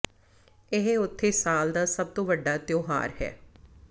ਇਹ ਉਥੇ ਸਾਲ ਦਾ ਸਭ ਤੋਂ ਵੱਡਾ ਤਿਉਹਾਰ ਹੈ